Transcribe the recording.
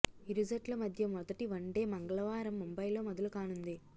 ఇరు జట్ల మధ్య మొదటి వన్డే మంగళవారం ముంబైలో మొదలు కానుంది